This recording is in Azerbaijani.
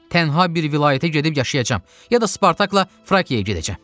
Tənha bir vilayətə gedib yaşayacam, ya da Spartakla Frakiyaya gedəcəm.